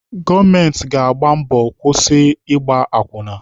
Gọọmenti ga-agba mbọ kwụsị Ịgba akwụna.